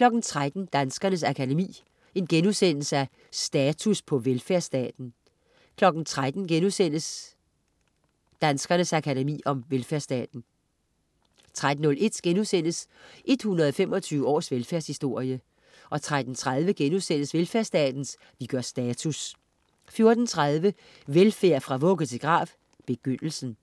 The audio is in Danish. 13.00 Danskernes Akademi. Status på velfærdsstaten* 13.00 Danskernes Akademi. Velfærdsstaten* 13.01 125 års velfærdshistorie* 13.30 Velfærdsstaten. Vi gør status* 14.30 Velfærd fra vugge til grav. Begyndelsen.